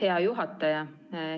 Hea juhataja!